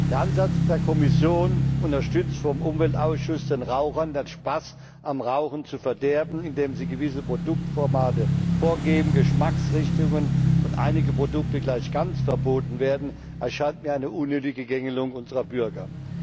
Der Ansatz der Kommission unterstützt vom Umweltausschuss den Rauchern den Spaß am Rauchen zu verderben, indem gewisse Produktformate vorgegeben, Geschmacksrichtungen und einige Produkte gleich ganz verboten werden, erscheint mir als eine unnötige Gängelung unserer Bürger.